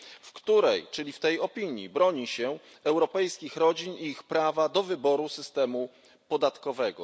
W tej opinii broni się europejskich rodzin i ich prawa do wyboru systemu podatkowego.